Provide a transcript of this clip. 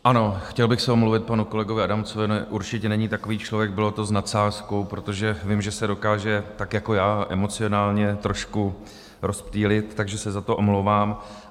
Ano, chtěl bych se omluvit panu kolegovi Adamcovi, určitě není takový člověk, bylo to s nadsázkou, protože vím, že se dokáže tak jako já emocionálně trošku rozptýlit, takže se za to omlouvám.